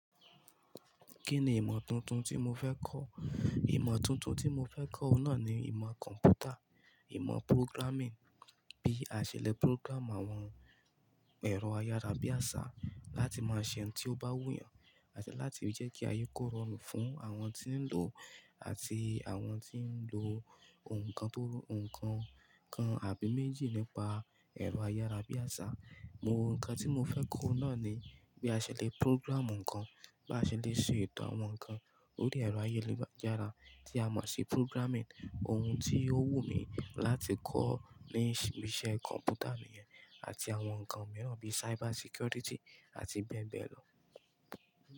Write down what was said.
Kí ni ìmọ̀ tuntun tí mo fẹ́ kọ́? Ìmọ̀ tuntun tí mo fẹ́ kọ́ oun náà ni ìmọ̀ kọ̀m̀pútà, ìmọ̀ programming, bí a ṣe le program àwọn ẹ̀rọ ayára bí àṣá láti máa ṣe ohun tí ó bá wù yàn àti láti fi jẹ́ kí aye kó rọrùn fún àwọn tí ń lò àti àwọn tí ń lo nǹkan tó-- nǹkan kan àbí méjì nípa ẹ̀rọ ayára bí àṣá. Mo-- nǹkan tí mo fẹ́ kọ́ oun náà ni bí a ṣe le program nǹkan, bí a ṣe le ṣe eto àwọn nǹkan lórí ẹ̀rọ ayélujára tí a mọ̀ sí programming. Ohun tí ó wù mí láti kọ́ ní iṣẹ́ kọ̀m̀pútà nìyẹn àti àwọn nǹkan mìíràn bí cyber security àti bẹ́ẹ̀ bẹ́ẹ̀ lọ.